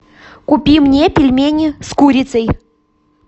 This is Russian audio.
купи мне пельмени с курицей